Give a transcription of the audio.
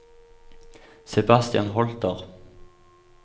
Sebastian Holter